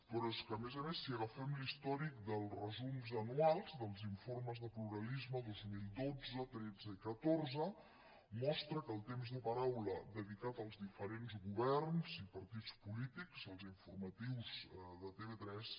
però és que a més a més si agafem l’històric dels resums anuals dels informes de pluralisme dos mil dotze tretze i catorze mostra que el temps de paraula dedicat als diferents governs i partits polítics als informatius de tv3